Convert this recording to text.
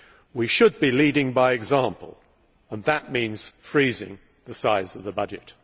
We should be leading by example, and that means freezing the size of the budget.